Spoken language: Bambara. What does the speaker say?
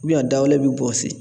a dawale bɛ bɔsi